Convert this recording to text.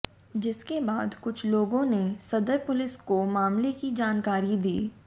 जिसके बाद कुछ लोगों ने सदर पुलिस को मामले की जानकारी दी